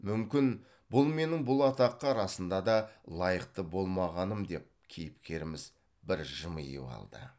мүмкін бұл менің бұл атаққа расында да лайықты болмағаным деп кейіпкеріміз бір жымиып алды